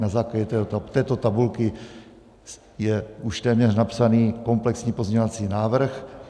Na základě této tabulky je už téměř napsaný komplexní pozměňovací návrh.